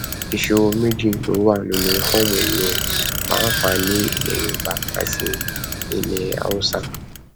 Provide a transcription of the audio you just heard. ìṣòro méjì ló wáá wà nínú fọọmù yìí o pàápàá ní ní ilẹ yorùbá àti ilẹ haúsá